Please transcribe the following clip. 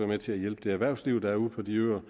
med til at hjælpe det erhvervsliv der er ude på de øer